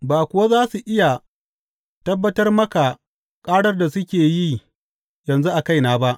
Ba kuwa za su iya tabbatar maka ƙarar da suke yi yanzu a kaina ba.